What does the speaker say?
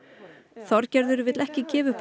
Þorgerður vill ekki gefa upp